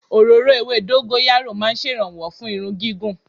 Òróró ewé dọ́góráyó ma ń ṣèrànwọ́ fún irun gígùn.